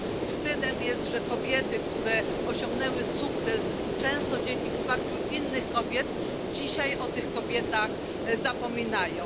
Wstydem jest, że kobiety, które osiągnęły sukces często dzięki wsparciu innych kobiet dzisiaj o tych kobietach zapominają.